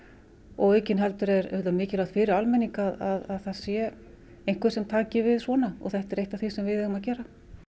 og aukinheldur er mikilvægt fyrir almenning að það sé einhver sem taki við svona og þetta er eitt af því sem við eigum að gera